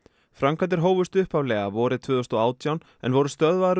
framkvæmdir hófust upphaflega vorið tvö þúsund og átján en voru stöðvaðar um